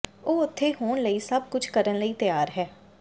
ਉਹ ਉੱਥੇ ਹੋਣ ਲਈ ਸਭ ਕੁਝ ਕਰਨ ਲਈ ਤਿਆਰ ਹੈ